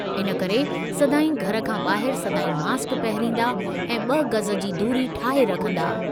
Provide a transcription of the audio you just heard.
इन करे सदाईं घरि खां ॿाहिरि सदाईं मास्क पहिरंदा ऐं ब॒ गज़ जी दूरी ठाहे रखंदा।